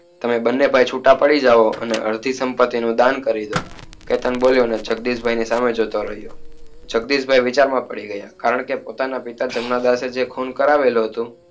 તમે બને ભાઈ છુટા પડી જાહો અને અડધી સંપત્તિ નું દાન કરી દયો કેતન બોલિયો અને જગદીશ ભાઈ ની સામે જોતો રહીયો તેથી તે બે વિચાર માં પડી ગયા અને પોતા ના પિતા એ જે ખુન કરાવેલું હતું